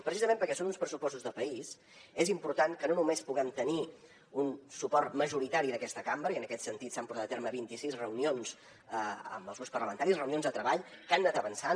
precisament perquè són uns pressupostos de país és important que no només puguem tenir un suport majoritari d’aquesta cambra i en aquest sentit s’han portat a terme vint i sis reunions amb els grups parlamentaris reunions de treball que han anat avançant